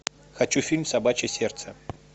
хочу фильм собачье сердце